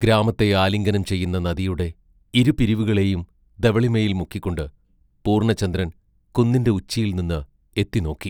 ഗ്രാമത്തെ ആലിംഗനം ചെയ്യുന്ന നദിയുടെ ഇരുപിരിവുകളെയും ധവളിമയിൽ മുക്കിക്കൊണ്ട് പൂർണചന്ദ്രൻ കുന്നിന്റെ ഉച്ചിയിൽ നിന്ന് എത്തിനോക്കി.